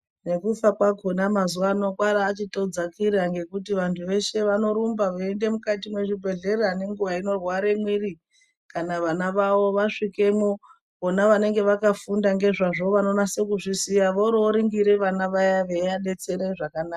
Nekufa kwakona mazuwaano kwaabachitodzakira ngekuti vanthu veshe vanorumba veiende mukati mwezvibhedhlera ngenguwa inorwara mwiri kana vana vavo vasvikemwo vona vanenge vakafunda ngezvazvo vanonyase kuzviziya voro voringira vana vaya veivadetsera zvakanaka.